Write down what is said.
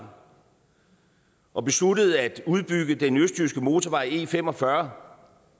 og besluttet at udbygge den østjyske motorvej e45